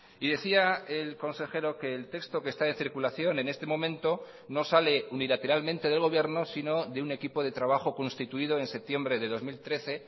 y decía el consejero que el texto que está en circulación en este momento no sale unilateralmente del gobierno sino de un equipo de trabajo constituido en septiembre de dos mil trece